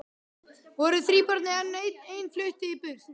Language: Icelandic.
Voru þríburar en ein flutti burt